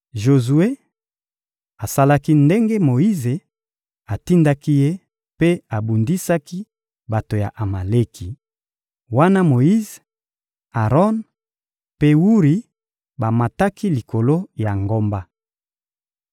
Jozue asalaki ndenge Moyize atindaki ye mpe abundisaki bato ya Amaleki; wana Moyize, Aron mpe Wuri bamataki likolo ya ngomba.